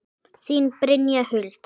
Þín, Brynja Huld.